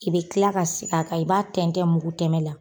I bi kila ka siki kan i b'a tɛntɛn muku tɛmɛn na